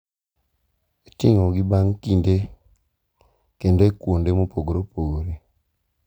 itimogi bang’ kinde kendo e kuonde mopogore opogore.